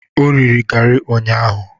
O riri garị ụnyaahụ.